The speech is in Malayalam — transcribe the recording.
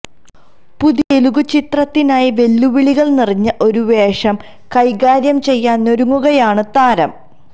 പുതിയ തെലുഗ് ചിത്രത്തിനായി വെല്ലുവിളികള് നിറഞ്ഞ ഒരു വേഷം കൈകാര്യം ചെയ്യാനൊരുങ്ങുകയാണ് താരം